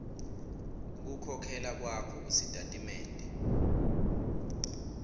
kukhokhela kwakho kusitatimende